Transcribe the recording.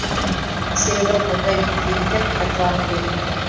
себебі бұндай фильмдер қайталана бермейді